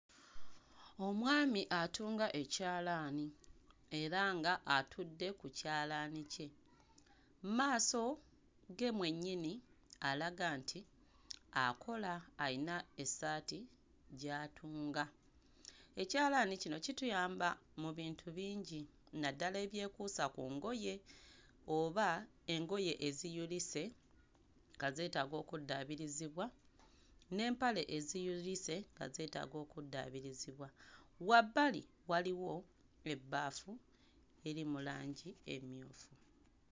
Omwami atunga ekyalaani era ng'atudde ku kyalaani kye. Mu maaso ge mwennyini alaga nti akola, ayina essaati gy'atunga. Ekyalaani kino kituyamba mu bintu bingi naddala ebyekuusa ku ngoye oba engoye eziyulise nga zeetaaga okuddaabirizibwa n'empale eziyulise nga zeetaaga okuddaabirizibwa. Wabbali waliwo ebbaafu eri mu langi emmyufu.